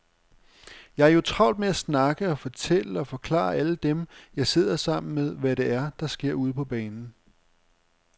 Jeg har jo travlt med at snakke og fortælle og forklare alle dem, jeg sidder sammen med, hvad det er, der sker ude på banen.